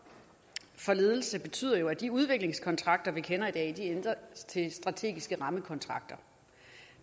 for ledelse den betyder jo at de udviklingskontrakter vi kender i dag ændres til strategiske rammekontrakter